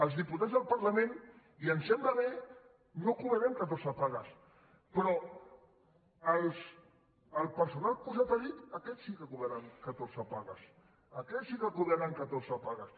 els diputats del parla·ment i em sembla bé no cobrarem catorze pagues però el personal posat a dit aquests sí que cobraran ca·torze pagues aquests sí que cobraran catorze pagues